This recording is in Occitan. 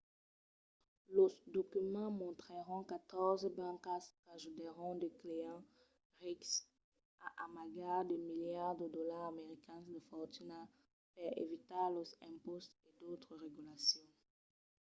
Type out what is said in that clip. los documents mostrèron catòrze bancas qu'ajudèron de clients rics a amagar de miliards de dolars americans de fortuna per evitar los impòstes e d'autras regulacions